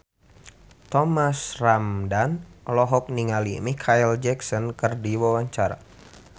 Thomas Ramdhan olohok ningali Micheal Jackson keur diwawancara